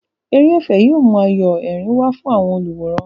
Eré ẹ̀fẹ̀ yóò mú ayọ̀ àti ẹ̀rín wá fún àwọn olùwòran.